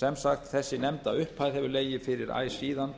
sem sagt þessi nefnda upphæð hefur legið fyrir æ síðan